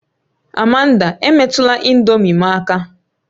Amanda, emetụla ị̀ndómị́ m aka!